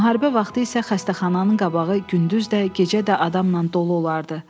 Müharibə vaxtı isə xəstəxananın qabağı gündüz də, gecə də adamla dolu olardı.